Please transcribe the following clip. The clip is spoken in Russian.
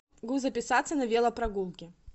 могу записаться на велопрогулки